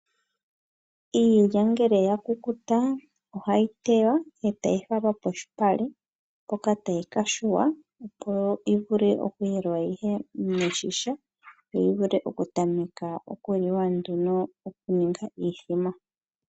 Iilya ngele ya kukuta ohayi tewa e tayi falwa kolupale hoka tayi ka yungulwa opo yi vule okuyelwa yi ye miigadhi yo yi vule okutamekwa okuliwa nduno okuninga iimbombo.